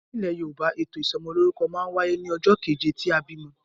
Nilè Yorùbá, ètò ìsomolórúkọ ma n wáyé ní ojó keje tí a bìmo